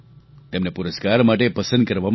તેમને પુરસ્કાર માટે પસંદ કરવામાં આવ્યા